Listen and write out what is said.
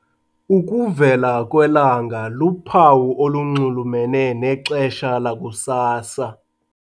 Ukuvela kwelanga luphawu olunxulumene nexesha lakusasa.